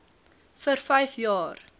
vir vyf jaar